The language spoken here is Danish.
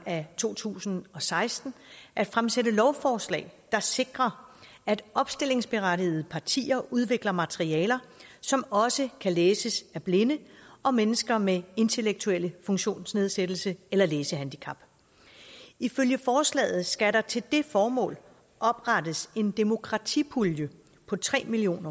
af to tusind og seksten at fremsætte lovforslag der sikrer at opstillingsberettigede partier udvikler materialer som også kan læses af blinde og mennesker med intellektuelle funktionsnedsættelser eller læsehandicap ifølge forslaget skal der til det formål oprettes en demokratipulje på tre million